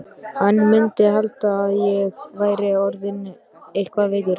Hann mundi halda að ég væri orðinn eitthvað veikur.